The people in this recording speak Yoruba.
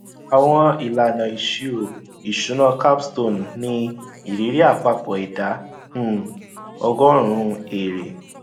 àwọn ìlànà ìṣirò ìṣúná capstone ní ìrírí àpapọ ìdá um ọgórùnún èrè